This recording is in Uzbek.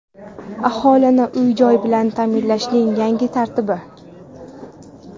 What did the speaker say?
Aholini uy-joy bilan taʼminlashning yangi tartibi.